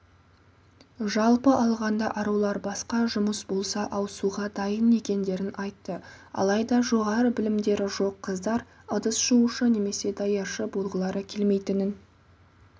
жалпы алғанда арулар басқа жұмыс болса ауысуға дайын екендерін айтты алайда жоғары білімдері жоқ қыздар ыдыс жуушы немесе даяршы болғылары келмейтінін